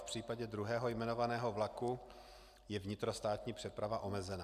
V případě druhého jmenovaného vlaku je vnitrostátní přeprava omezena.